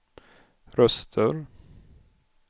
röster